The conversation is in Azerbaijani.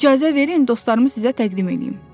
İcazə verin, dostlarımı sizə təqdim eləyim.